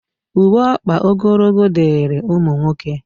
Uwe ọkpa ogologo dịịrị ụmụ nwoke